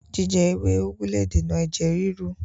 Jíjẹ ewé úgú le dènà ẹ̀jẹ̀ ríru